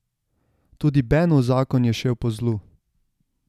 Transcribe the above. Tudi Benov zakon je šel po zlu.